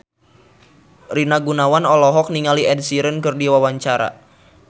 Rina Gunawan olohok ningali Ed Sheeran keur diwawancara